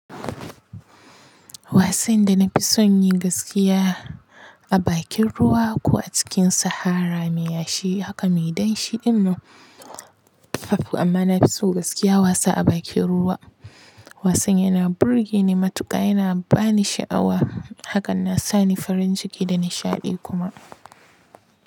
Wasan da na fi son yin gaskiya a bakin ruwa ko a cikin sahara mai yashi haka mai danshi din nan. Amma na fi so gaskiya wasa a bakin ruwa. Wasan yana burge ni matuka, yana ba ni sha'awa hakan na sa ni farin ciki da nishaɗi kuma.